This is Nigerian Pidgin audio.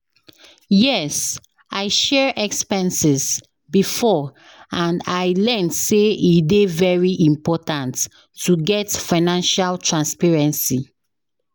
Yes, i share expenses before, and i learn say e dey very important to get financial transparency.